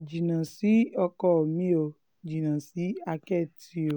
jìnnà sí ọkọ mi ò jìnnà sí àkẹ́tì o